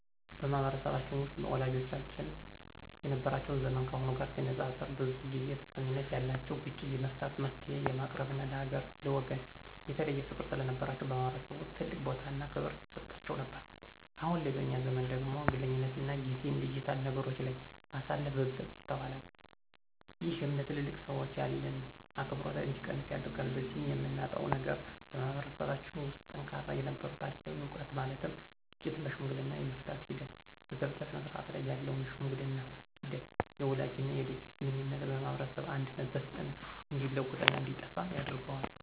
በማህበረሰባችን ውስጥ ወላጆቻችን የነበራቸው ዘመን ካሁኑ ጋር ሲነፃፀር ብዙ ጊዜ ተሰሚነት ያላቸውና ግጭት የመፍታት፣ መፍትሔ የማቅረብና ለሀገርና ለወገን የተለየ ፍቅር ስለነበራቸው በማህበረሰቡ ውስጥ ትልቅ ቦታና ክብር ይሰጣቸው ነበር። አሁን ላይ በእኛ ዘመን ደግሞ ግለኝነትና ጊዜን ዲጂታል ነገሮች ላይ ማሳለፍ በብዛት ይስተዋላል። ይህም ለትልልቅ ሰዎች ያለን አክብሮት እንዲቀንስ ያደርጋል። በዚህም የምናጣው ነገር በማህበረሰባችን ውስጥ ጠንካራ የነበረውን ታሪካዊ ዕውቀት ማለትም ግጭቶችን በሽምግልና የመፍታት ሂደት፣ በጋብቻ ስነስርዓት ላይ ያለውን የሽምግልና ሂደት፣ የወላጅና የልጅ ግንኙነትና የማህበረሰብ አንድነትና በፍጥነት እንዲለወጥና እንዲጠፋ ያደርጋል።